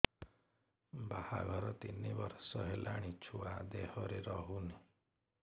ବାହାଘର ତିନି ବର୍ଷ ହେଲାଣି ଛୁଆ ଦେହରେ ରହୁନି